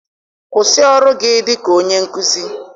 Kwụsị ọrụ gị dịka onye nkuzi!